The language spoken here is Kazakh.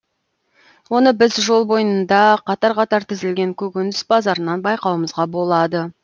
оны біз жол бойында қатар қатар тізілген көкөніс базарынан байқауымызға болады